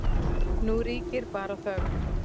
Nú ríkir bara þögn.